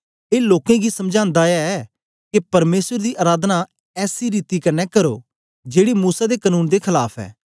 ए लोकें गी समझांदा ऐ के परमेसर दी अराधना ऐसी रीति कन्ने करो जेड़ी मूसा दे कनून दे खलाफ ऐ